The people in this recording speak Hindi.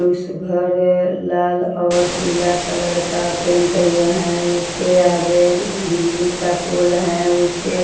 उस घर लाल और पीला कलर का पेंट हुआ है उसके आगे बिजली का पोल है उसके --